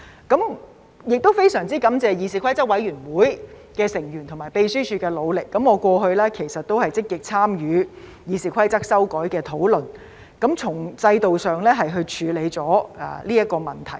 我亦非常感謝議事規則委員會成員和秘書處的努力，我過去其實也有積極參與《議事規則》修改的討論，從制度上處理這個問題。